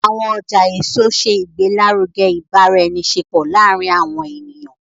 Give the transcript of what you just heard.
Awọn ọja eso ṣe igbelaruge ibaraenisepo laarin awọn eniyan